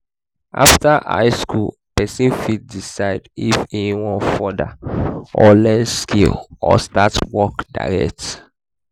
after high school persin fit decide if e won further or learn skill or start work direct